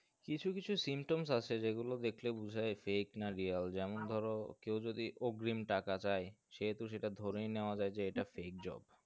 কিছু কিছু symptoms আসে যে গুলো দেকলে বুঝায় fake না real যেমন ধরো কেউ যদি অগ্রিম টাকা চাই সেহেতু সেটা ধরেই নেওয়া যায় যে এটা fake job